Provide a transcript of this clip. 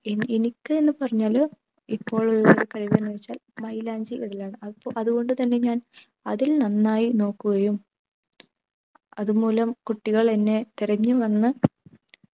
any എനിക്ക്ന്ന് പറഞ്ഞാല് ഇപ്പോളുള്ള കഴിവ് എന്നുച്ചൽ മൈലാഞ്ചി ഇടലാണ് അതോണ്ട് തന്നെ ഞാൻ അതിൽ നന്നായി നോക്കുകയും അതുമൂലം കുട്ടികൾ എന്നെ തിരഞ്ഞു വന്ന്